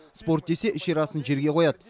спорт десе ішер асын жерге қояды